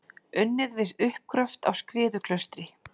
Unnið við uppgröft á Skriðuklaustri.